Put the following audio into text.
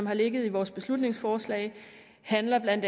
har ligget i vores beslutningsforslag handler